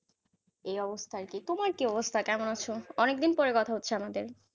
এই অবস্থায় আছি, তোমার কি অবস্থা? কেমন আছ? অনেকদিন পরে কথা হচ্ছে আমাদের.